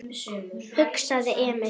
hugsaði Emil.